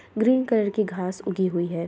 Green colour की घास उगी हुई है।